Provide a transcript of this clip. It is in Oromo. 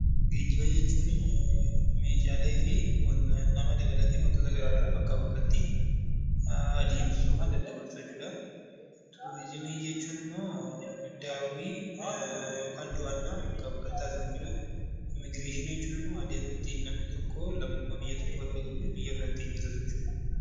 Geejjiba jechuun namaa dabalatee meeshaalee garaagaraa bakkaa bakkatti deddeebisuudhaa. Turizimii jechuun immoo daawwannaa bakkaa taasifamu jechuudha. Immiigireeshinii jechuun immoo adeemsa namni tokko biyyaa bahuu fi lammummaa biyya tokkoo ittiin argatu jechuudha